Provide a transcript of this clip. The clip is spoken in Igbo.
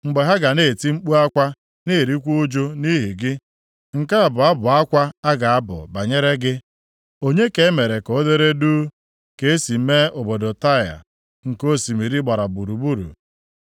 Mgbe ha ga na-eti mkpu akwa na-erikwa uju nʼihi gị, nke a bụ abụ akwa a ga-abụ banyere gị, “Onye ka e mere ka o dere duu ka e si mee obodo Taịa, nke osimiri gbara gburugburu?”